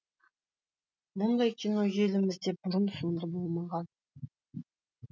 мұндай кино елімізде бұрын соңды болмаған